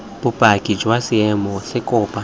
bopaki jwa seemo se kopo